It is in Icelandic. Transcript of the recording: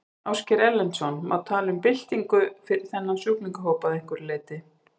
Ásgeir Erlendsson: Má tala um byltingu fyrir þennan sjúklingahóp að einhverju leyti?